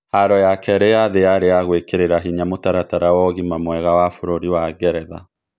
Haro yakerĩ ya thĩ yarĩ ya gũĩkĩrĩra hinya mutaratara wa ũgima mwega wa Bũrũri wa geretha